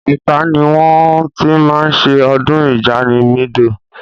Ọ̀tà ni wọ́n ti máa ń ṣe ọdún Ìjamìdó.